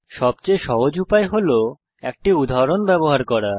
সবচেয়ে সহজ উপায় হল একটি উদাহরণ ব্যবহার করা